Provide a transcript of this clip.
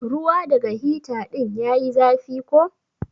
Ruwa daga hita din ya yi zafi ko?